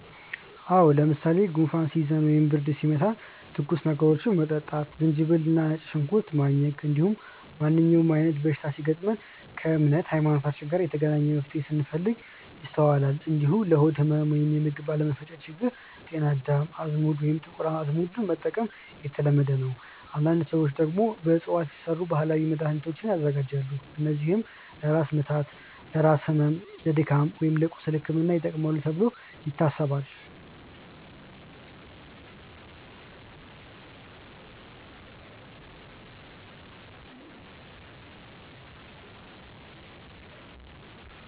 አዎ። ለምሳሌ ጉንፋን ሲይዘን ወይም ብርድ ሲመታን ትኩስ ነገሮችን መጠጣት፣ ዝንጅብል እና ነጭ ሽንኩርት ማኘክ፣ እንዲሁም ማንኛውም አይነት በሽታ ሲገጥም ከእምነት (ሀይማኖት) ጋር የተገናኘ መፍትሄን ስንፈልግ ይስተዋላል። እንዲሁም ለሆድ ህመም ወይም የምግብ አለመፈጨት ችግር ጤና አዳም፣ አዝሙድ ወይም ጥቁር አዝሙድ መጠቀም የተለመደ ነው። አንዳንድ ሰዎች ደግሞ በእፅዋት የተሰሩ ባህላዊ መድሃኒቶችን ያዘጋጃሉ፣ እነዚህም ለራስ ህመም፣ ለድካም ወይም ለቁስል ሕክምና ይጠቅማሉ ተብሎ ይታሰባል።